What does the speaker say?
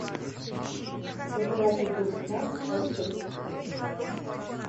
пожиратель душ нот часть тридцать девять